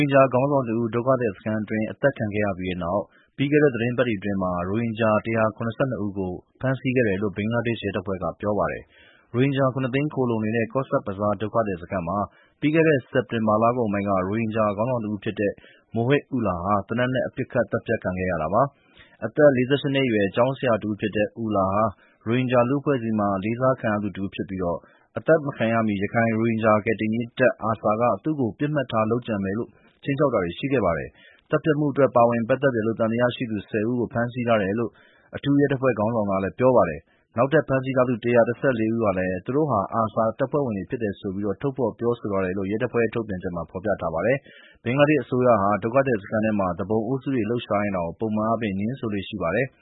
င်ဂျာခေါင်းဆောင်တဦး ဒုက္ခသည်စခန်းအတွင်း အသတ်ခံရပြီးနောက် ပြီးခဲ့တဲ့ရက်သီတင်းပတ်တွေအတွင်း ရိုဟင်ဂျာ ၁၇၂ ဦးကို ဖမ်းဆီးခဲ့တယ်လို့ ဘင်္ဂလားဒေ့ရ်ှရဲတပ်ဖွဲ့က ပြောပါတယ်။ ရိုဟင်ဂျာ ၇ သိန်း ခိုလှုံနေတဲ့ Cox's Bazar ဒုက္ခသည်စခန်းမှာ ပြီးခဲ့တဲ့ စက်တင် ဘာလကုန်ပိုင်းက ရိုဟင်ဂျာခေါင်းဆောင်တဦးဖြစ်တဲ့ Mohib Ullah ဟာ သေနတ် နဲ့ ပစ်ခက်သတ်ဖြတ်ခံခဲ့ရတာပါ။ အသက် ၄၈ နှစ်အရွယ် ကျောင်းဆရာတဦးဖြစ်တဲ့ Ullah ဟာ ရိုဟင်ဂျာလူ့အဖွဲ့ အစည်းမှာ အလေးစားခံရသူတဦးဖြစ်ပြီး အသတ်မခံရမီ ရခိုင် ရိုဟင်ဂျာ ကယ်တင်ရေးတပ် (ARSA) က သူ့ကို ပစ်မှတ်ထား လုပ်ကြံမယ်လို့ခြိမ်းခြောက်တာတွေရှိခဲ့ပါတယ်။ သတ်ဖြတ်မှုအတွက် ပါဝင်ပတ်သက်တယ်လို့ သံသယရှိသူ ၁၀ ဦးလည်း ဖမ်းဆီးထားတယ်လို့ အထူးရဲတပ်ဖွဲ့ခေါင်းဆောင်က ပြောပါတယ်။ နောက်ထပ် ဖမ်းဆီးထားသူ ၁၁၄ ဦးဟာလည်း သူတို့ဟာ အာဆာအဖွဲ့ဝင်တွေဖြစ် တယ်ဆိုပြီး ထုတ်ဖေါ်ပြောဆိုထားတယ်လို့ ရဲအဖွဲ့ရဲ့ ထုတ်ပြန်ချက်မှာ ဖော်ပြထားပါတယ်။ ဘင်္ဂလားဒေ့ရှ်အစိုးရဟာ ဒုက္ခသည်စခန်းထဲ သူပုန်အုပ်စုတွေ လှုပ်ရှားနေတာကို ပုံမှန်အားဖြင့် ငြင်းဆိုလေ့ရှိပါတယ်။